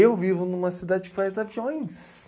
Eu vivo numa cidade que faz aviões.